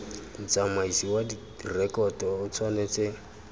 motsamaisi wa direkoto o tshwanetse